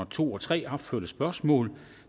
to og tre opførte spørgsmål